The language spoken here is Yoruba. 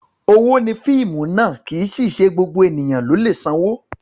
Owó ni fíìmù ná, kì í sì í ṣe gbogbo ènìyàn ló lè sanwó.